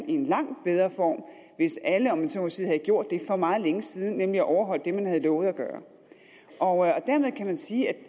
i en langt bedre form hvis alle om jeg så må sige havde gjort det for meget længe siden nemlig at overholde det man havde lovet at gøre og dermed kan man sige at det